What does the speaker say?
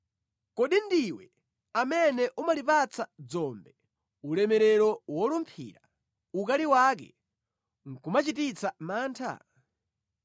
Kodi ndiwe amene umalipatsa dzombe ulemerero wolumphira, ukali wake nʼkumachititsa mantha?